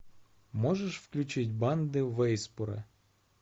можешь включить банды вассейпура